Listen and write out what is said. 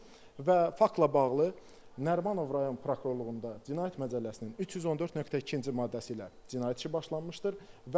Və faktla bağlı Nərimanov rayon prokurorluğunda Cinayət məcəlləsinin 314.2-ci maddəsi ilə cinayət işi başlanmışdır.